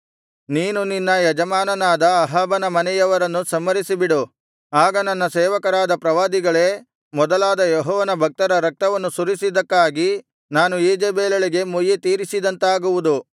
ನೀನು ನಿನ್ನ ಯಜಮಾನನಾದ ಅಹಾಬನ ಮನೆಯವರನ್ನು ಸಂಹರಿಸಿಬಿಡು ಆಗ ನನ್ನ ಸೇವಕರಾದ ಪ್ರವಾದಿಗಳೇ ಮೊದಲಾದ ಯೆಹೋವನ ಭಕ್ತರ ರಕ್ತವನ್ನು ಸುರಿಸಿದ್ದಕ್ಕಾಗಿ ನಾನು ಈಜೆಬೆಲಳಿಗೆ ಮುಯ್ಯಿತೀರಿಸಿದಂತಾಗುವುದು